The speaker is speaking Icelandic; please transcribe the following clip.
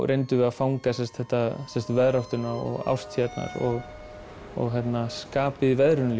reyndum við að fanga veðráttuna árstíðirnar og skapið í veðrinu